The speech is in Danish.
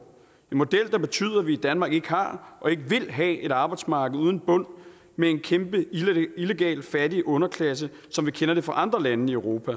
model der betyder at vi i danmark ikke har og ikke vil have et arbejdsmarked uden bund med en kæmpe illegal fattig underklasse som vi kender det fra andre lande i europa